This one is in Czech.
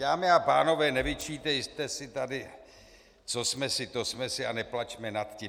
Dámy a pánové, nevyčítejte si tady co jsme si to jsme si a neplačme nad tím.